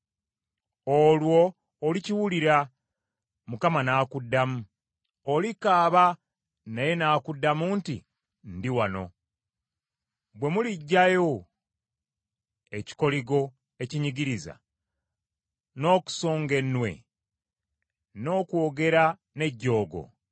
Olwo olikoowoola, Mukama n’akuddamu; olikaaba naye n’akuddamu nti, Ndi wano. “Bwe muliggyawo ekikoligo ekinyigiriza n’okusonga ennwe, n’okwogera n’ejjoogo;